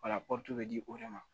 wala bɛ di o de ma